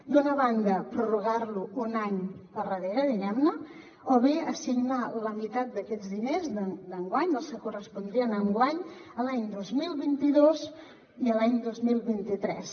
d’una banda prorrogar lo un any per darrere diguem ne o bé assignar la meitat d’aquests diners d’enguany dels que correspondrien a enguany a l’any dos mil vint dos i a l’any dos mil vint tres